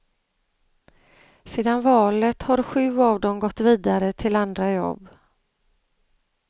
Sedan valet har sju av dem gått vidare till andra jobb.